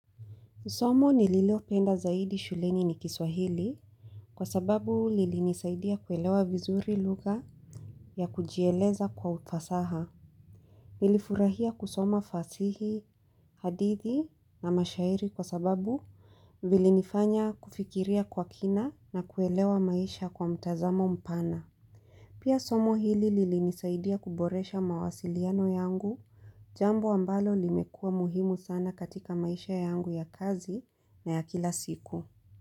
Somo ni lilio penda zaidi shuleni ni kiswahili kwa sababu lili nisaidia kuelewa vizuri lugha ya kujieleza kwa ufasaha. Nilifurahia kusoma fasihi, hadithi na mashairi kwa sababu vili nifanya kufikiria kwa kina na kuelewa maisha kwa mtazamo mpana. Pia somo hili lili nisaidia kuboresha mawasiliano yangu jambo ambalo limekua muhimu sana katika maisha yangu ya kazi na ya kila siku.